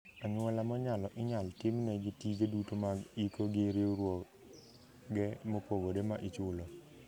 Anyuola monyalo inyal timnegi tije duto mag iko gi riwruoge mopogore ma ichulo.